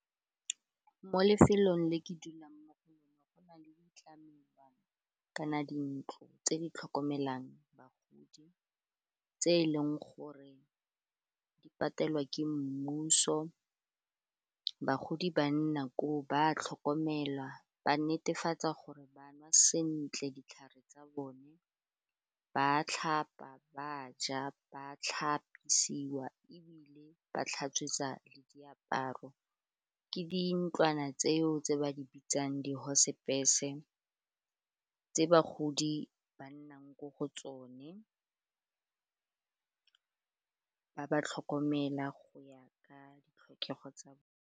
Mo lefelong le ke dulang mo go lona go na le tlamelwana kana dintlo tse di tlhokomelang bagodi tse e leng gore di patelwa ke mmuso. Bagodi ba nna koo ba tlhokomelwa, ba netefatsa gore ba nwa sentle ditlhare tsa bone, ba tlhapa, ba ja, ba tlhapisiwa ebile ba tlhatswetswa le diaparo ke dintlwana tseo tse ba di bitsang di hospice-e tse bagodi ba nnang ko go tsone ba ba tlhokomela go ya ka ditlhokego tsa bone.